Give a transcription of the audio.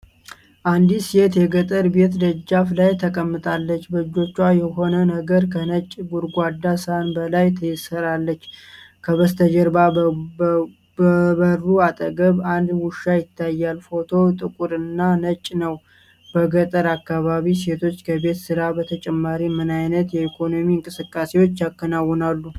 አንዲት ሴት የገጠር ቤት ደጃፍ ላይ ተቀምጣለች። በእጆቿ የሆነ ነገር ከነጭ ጎድጓዳ ሳህን በላይ ትሰራለች። ከበስተጀርባ በበሩ አጠገብ አንድ ውሻ ይታያል። ፎቶው ጥቁር እና ነጭ ነው። በገጠር አካባቢዎች ሴቶች ከቤት ስራ በተጨማሪ ምን ዓይነት የኢኮኖሚ እንቅስቃሴዎች ያከናውናሉ?